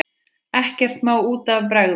Ekkert má út af bregða.